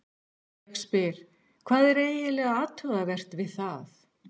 Ég spyr, hvað er eiginlega athugavert við það?